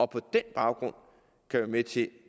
på den baggrund kan være med til